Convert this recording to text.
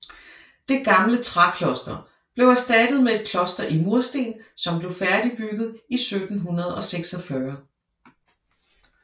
Det gamle trækloster blev erstattet med et kloster i mursten som blev færdigbygget i 1746